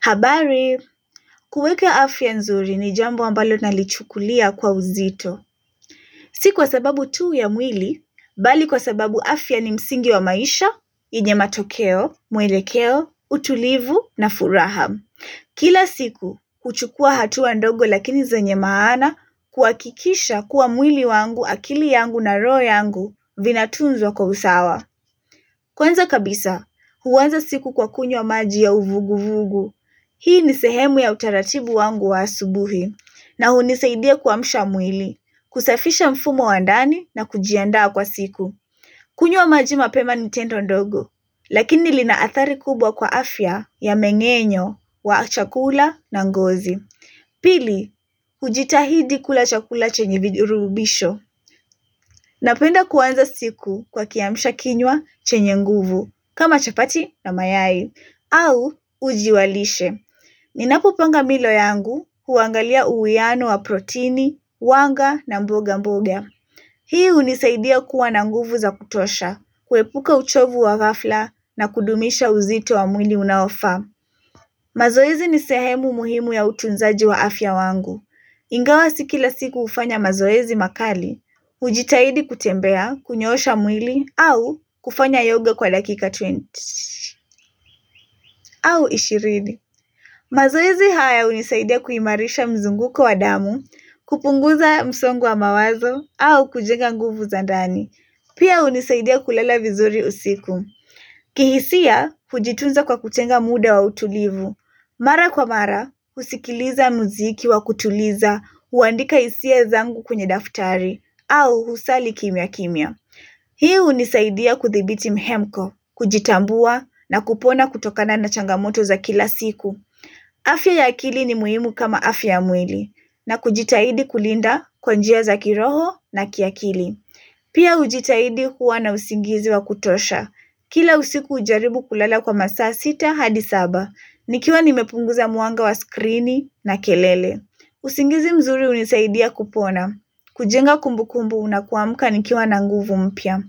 Habari, kuweka afya nzuri ni jambo ambalo nalichukulia kwa uzito. Si kwababu tuu ya mwili, bali kwa sababu afya ni msingi wa maisha, nyenye matokeo, mwelekeo, utulivu na furaha. Kila siku, kuchukua hatua ndogo lakini zenye maana kuhakikisha kuwa mwili wangu, akili yangu na roho yangu, vina tunzwa kwa usawa. Kwanza kabisa, huanza siku kwa kunywa wa maji ya uvugu-vugu. Hii ni sehemu ya utaratibu wangu wa asubuhi na hunisaidia kuamsha mwili, kusafisha mfumo wa ndani na kujiandaa kwa siku. Kunywa maji mapema ni tendo ndogo, lakini lina athari kubwa kwa afya ya mengenyo wa chakula na ngozi. Pili, hujitahidi kula chakula chenye virubisho, napenda kuanza siku kwa kiamisha kinywa chenye nguvu, kama chapati na mayai, au uji wa lishe. Ninapo panga milo yangu huangalia uwiano wa proteini, wanga na mboga mboga. Hii hunisaidia kuwa na nguvu za kutosha, kuepuka uchovu wa ghafla na kudumisha uzito wa mwili unaofaa. Mazoezi ni sehemu muhimu ya utunzaji wa afya wangu. Ingawa si kila siku hufanya mazoezi makali, hujitahidi kutembea, kunyosha mwili au kufanya yoga kwa dakika ishirini au ishirini. Mazoezi haya hunisaidia kuhimarisha mzunguko wa damu, kupunguza msongo wa mawazo au kujenga nguvu za ndani. Pia hunisaidia kulala vizuri usiku. Kihisia kujitunza kwa kutenga muda wa utulivu. Mara kwa mara husikiliza muziki wa kutuliza, huandika hisia zangu kwenye daftari au husali kimya kimya. Hii hunisaidia kuthibiti mihemko, kujitambua na kupona kutokana na changamoto za kila siku. Afya ya akili ni muhimu kama afya ya mwili na kujitahidi kulinda kwa njia za kiroho na kiakili. Pia hujitaidi kuwa na usingizi wa kutosha. Kila usiku ujaribu kulala kwa masaa sita hadi saba. Nikiwa nimepunguza mwanga wa skrini na kelele. Uzingizi mzuri hunisaidia kupona. Kujenga kumbukumbu una kuamuka nikiwa na nguvu mpya.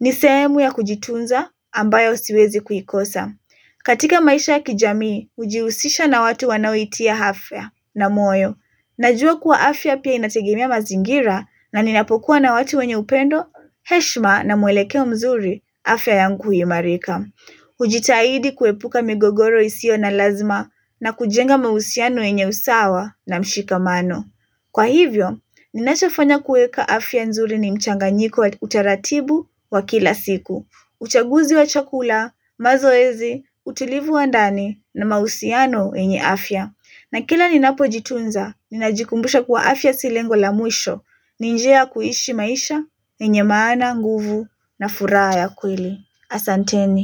Nisehemu ya kujitunza ambayo siwezi kuikosa. Katika maisha ya kijamii, hujiusisha na watu wanao iitia afya na moyo. Najua kuwa afya pia inategemea mazingira na ninapokuwa na watu wenye upendo, heshma na muelekeo mzuri afya yangu huimarika. kujitahidi kuepuka migogoro isio na lazima na kujenga mahusiano yenye usawa na mshikamano. Kwa hivyo, ninachofanya kuweka afya nzuri ni mchanganyiko utaratibu wa kila siku. Uchaguzi wa chakula, mazoezi, utulivu wa ndani na mahusiano yenye afya. Na kila ninapo jitunza, ninajikumbusha kuwa afya si lengo la mwisho. Ni njia ya kuishi maisha, yenye maana, nguvu na furaha ya kweli. Asanteni.